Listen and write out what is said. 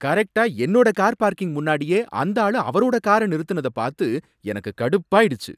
கரெக்ட்டா என்னோட car parking முன்னாடியே அந்த ஆளு அவரோட கார நிறுத்தினத பார்த்து எனக்கு கடுப்பாயிடுச்சு.